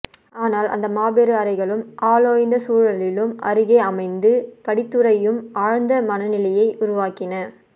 ஆனால் அந்த மாபெரும் அறைகளும் ஆளோய்ந்த சூழலும் அருகே அமைந்த படித்துறையும் ஆழ்ந்த மனநிலையை உருவாக்கின